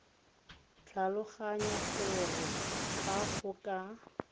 tlhaloganya gore fa go ka